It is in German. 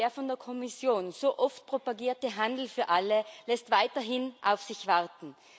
Der von der Kommission so oft propagierte Handel für alle lässt weiterhin auf sich warten.